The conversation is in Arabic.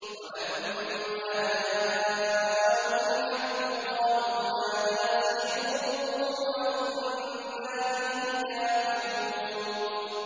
وَلَمَّا جَاءَهُمُ الْحَقُّ قَالُوا هَٰذَا سِحْرٌ وَإِنَّا بِهِ كَافِرُونَ